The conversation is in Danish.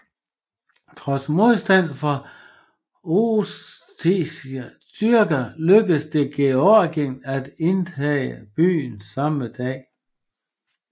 Trods modstand fra ossetiske styrker lykkedes det Georgien at indtage byen samme dag